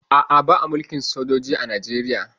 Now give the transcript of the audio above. A'a, ba a mulkin sojoji a Najeriya